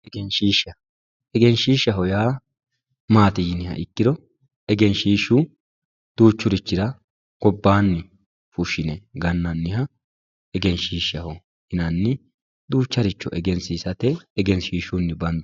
egenshiishsha. egenshiishshaho yaa maati yiniha ikkiro egenshiishshu duuchurichira gobbaanni fushshine gannanniha egenshiishshaho yinanni duucharicho egensiisate egenshiishshunni bandanni.